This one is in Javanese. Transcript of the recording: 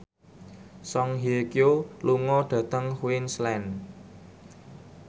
Song Hye Kyo lunga dhateng Queensland